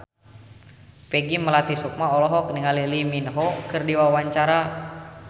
Peggy Melati Sukma olohok ningali Lee Min Ho keur diwawancara